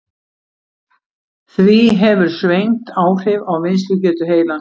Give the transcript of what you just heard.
Því hefur svengd áhrif á vinnslugetu heilans.